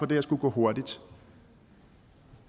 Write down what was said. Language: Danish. det her skulle gå hurtigt